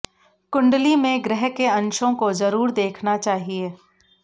कुण्डली में ग्रह के अंशों को जरूर देखना चाहिए